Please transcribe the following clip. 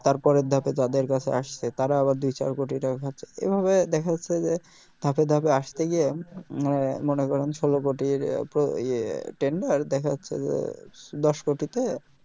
তারপরের ধাপে তাদের কাছে আসছে তারা আবার দুই চার কোটি টাকা খাচ্ছে এভাবে দ্যাখা যাচ্ছে যে ধাপে ধাপে আস্তে গিয়ে উম মনে করেন ষোল কোটির ইয়ে tender দ্যাখা যাচ্ছে যে দশ কোটি তে